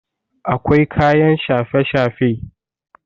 akwai kayan shafe-shafe